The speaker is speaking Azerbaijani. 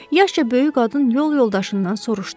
Yaşca böyük qadın yol yoldaşından soruşdu.